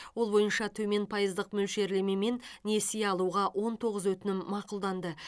ол бойынша төмен пайыздық мөлшерлемемен несие алуға он тоғыз өтінім мақұлданды